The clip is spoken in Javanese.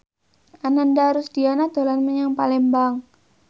Ananda Rusdiana dolan menyang Palembang